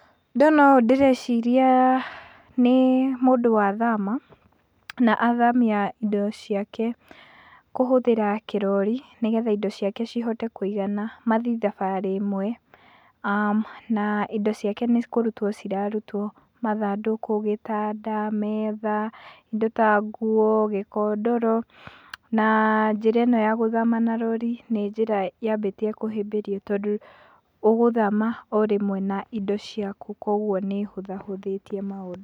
Ndona ũũ ndĩreciria nĩ mũndũ wa thama, na athamia indo ciake kũhũthĩra kĩrori nĩ getha indo ciake cihote kũigana mathi thabarĩ ĩmwe na indo ciake nĩ kũrutwo cirarutwo, mathandũkũ, gĩtanda, metha, indo ta nguo, gĩkondoro na njĩra ĩno ya gũthama na rori nĩ njĩra yambĩtie kũhĩmbĩrio tondũ ũgũthama o rĩmwe na indo ciaku koguo nĩ ĩhũthahũthĩtie maũndũ.